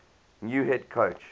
new head coach